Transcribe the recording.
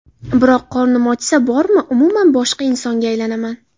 Biroq qornim ochsa bormi, umuman boshqa insonga aylanaman.